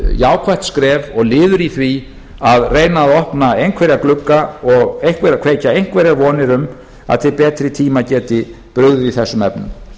jákvætt skref og liður í því að reyna að opna einhverja glugga og kveikja einhverjar vonir um að til betri tíma geti brugðið í þessum efnum